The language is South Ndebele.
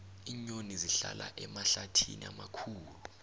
iinyoni zihlala emahlathini amakhulu